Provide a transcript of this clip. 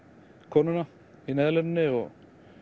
konuna í Neyðarlínunni og